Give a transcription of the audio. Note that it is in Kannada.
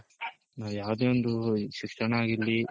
ನಾವ್ ಯಾವ್ದೆ ಒಂದ್ ಶಿಕ್ಷಣ ಆಗಿರ್ಲಿ .